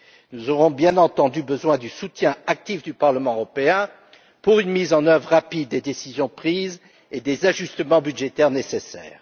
Nous aurons bien entendu besoin du soutien actif du Parlement européen pour une mise en oeuvre rapide des décisions prises et des ajustements budgétaires nécessaires.